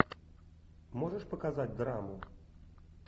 можешь показать драму